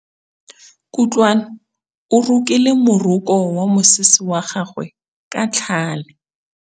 Kutlwanô o rokile morokô wa mosese wa gagwe ka tlhale.